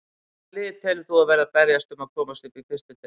Hvaða lið telur þú að verði að berjast um að komast upp í fyrstu deild?